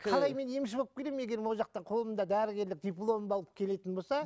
қалай мен емші болып келемін егер ол жақтан қолымда дәрігерлік дипломымды алып келетін болса